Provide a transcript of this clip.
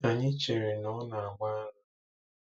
Anyị chere na ọ na-agba.